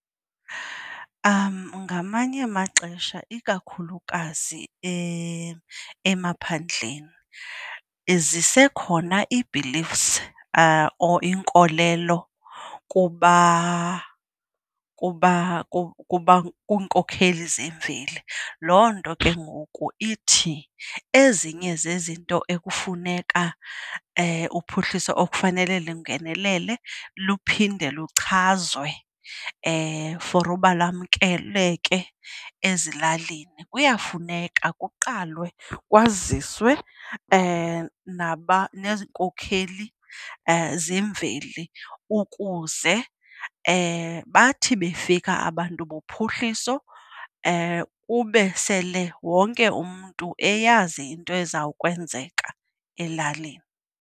Ngamanye amaxesha, ikakhulukazi emaphandleni, zisekhona ii-beliefs or iinkolelo kuba kuba kuba kwiinkokheli zemveli. Loo nto ke ngoku ithi ezinye zezinto ekufuneka uphuhliso ekufanele lungenelele luphinde luchazwe for uba lamkeleke ezilalini. Kuyafuneka kuqalwe kwaziswe naba neenkokheli zemveli ukuze bathi befika abantu bophuhliso kube sele wonke umntu eyazi into ezawukwenzeka elalini.